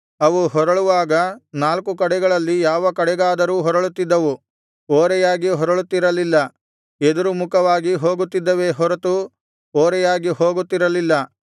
ಅವು ಹೊರಳುವಾಗ ನಾಲ್ಕು ಕಡೆಗಳಲ್ಲಿ ಯಾವ ಕಡೆಗಾದರೂ ಹೊರಳುತ್ತಿದ್ದವು ಓರೆಯಾಗಿ ಹೊರಳುತ್ತಿರಲಿಲ್ಲ ಎದುರುಮುಖವಾಗಿ ಹೋಗುತ್ತಿದ್ದವೇ ಹೊರತು ಓರೆಯಾಗಿ ಹೋಗುತ್ತಿರಲಿಲ್ಲ